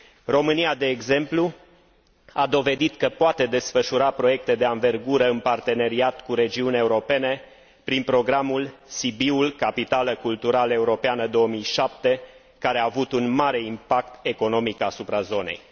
România, de exemplu, a dovedit că poate desfășura proiecte de anvergură în parteneriat cu regiuni europene prin programul Sibiul, capitală culturală europeană 2007, care a avut un mare impact economic asupra zonei.